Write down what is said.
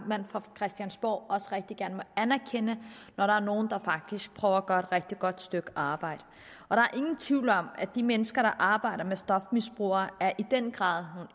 fra christiansborgs side også rigtig gerne må anerkende når der er nogle der faktisk prøver at gøre et rigtig godt stykke arbejde der er ingen tvivl om at de mennesker der arbejder med stofmisbrugere i den grad